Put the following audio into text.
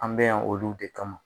An bɛ yan olu de kama.